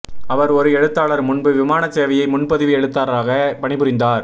அவர் ஒரு எழுத்தாளர் முன்பு விமான சேவையை முன்பதிவு எழுத்தராக பணிபுரிந்தார்